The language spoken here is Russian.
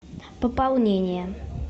пополнение